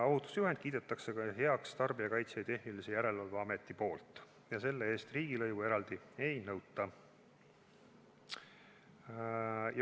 Ohutusjuhendi kiidab heaks Tarbijakaitse ja Tehnilise Järelevalve Amet ja selle eest eraldi riigilõivu ei nõuta.